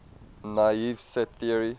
naive set theory